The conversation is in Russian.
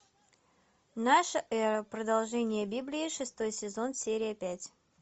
наша эра продолжение библии шестой сезон серия пять